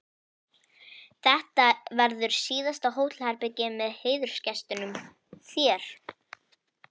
Þetta verður síðasta hótelherbergið með heiðursgestinum þér.